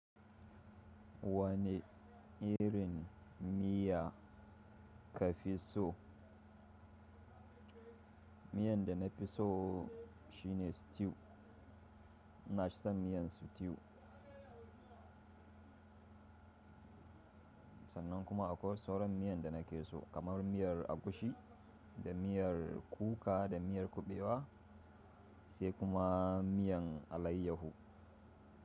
Wani irin miya ka fi so? Miyar da na fi so shine stew. Ina son miyan stew. Sannan kuma akwai sauran miyan da na ke so kamar miyar agushi da miyar kuka da miyar kuɓewa sai kuma miyan alaiyahu.